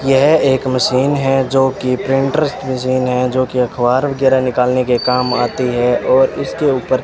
यह एक मशीन है जो कि प्रिंटर मशीन है जो कि अखबार वगैरह निकालने के काम आती है और इसके ऊपर --